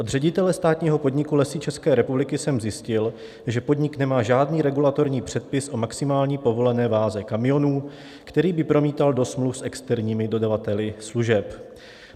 Od ředitele státního podniku Lesy České republiky jsem zjistil, že podnik nemá žádný regulatorní předpis o maximální povolené váze kamionů, který by promítal do smluv s externími dodavateli služeb.